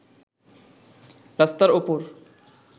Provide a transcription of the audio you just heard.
রাস্তার ওপর